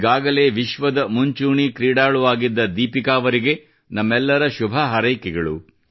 ಒಂದೊಮ್ಮೆ ವಿಶ್ವದ ಮುಂಚೂಣಿಯ ಕ್ರೀಡಾಳು ಆಗಿದ್ದ ದೀಪಿಕಾ ಅವರಿಗೆ ನಮ್ಮೆಲ್ಲರ ಶುಭ ಹಾರೈಕೆಗಳು